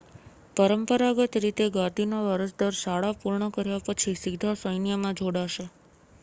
પરંપરાગત રીતે ગાદીના વારસદાર શાળા પૂર્ણ કર્યા પછી સીધા સૈન્યમાં જોડાશે